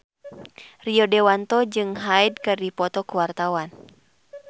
Rio Dewanto jeung Hyde keur dipoto ku wartawan